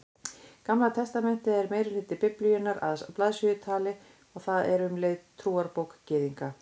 Gamla testamentið er meirihluti Biblíunnar að blaðsíðutali og það er um leið trúarbók Gyðinga.